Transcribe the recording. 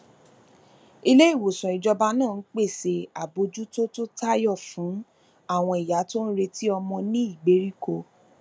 iléìwòsàn ìjọba náà ń pèsè àbójútó tí ó tayọ fún àwọn ìyá tó ń retí ọmọ ní ìgbèríko